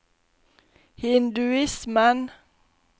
hinduismen